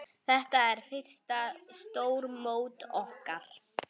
Þetta er fyrsta stórmót okkar.